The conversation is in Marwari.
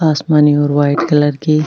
आसमानी और व्हाइट कलर की --